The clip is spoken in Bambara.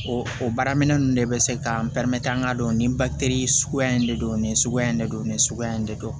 O o baara minɛn nunnu de bɛ se k'an an k'a dɔn nin bakiri suguya in de don ni suguya in de don nin suguya in de don